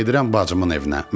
Mən gedirəm bacımın evinə.